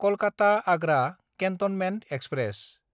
कलकाता–आग्रा cantonment express